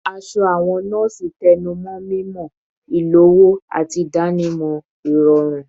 Aṣọ awọn nọọsi tẹnumọ mimọ, ilowo, ati idanimọ irọrun